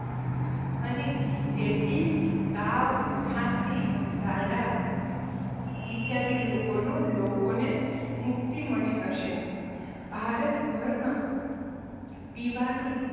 અને તેથી તાવ ખાંસી ઝાડા ઈચ્છાદિ રોગોનો લોકોને મુક્તિ મળી હશે ભારત ભરમાં પીવાનું